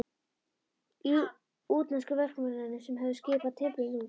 Útlensku verkamönnunum sem höfðu skipað timbrinu út.